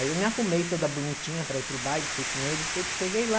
Aí eu me arrumei toda bonitinha para ir para o baile, fui com ele e tudo, cheguei lá.